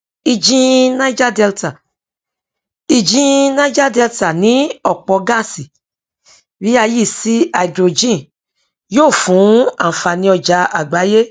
ìjìn niger delta ìjìn niger delta ní ọpọ gáàsì bí a yí sí háídírójìn yóò fún ànfàní ọjà àgbáyé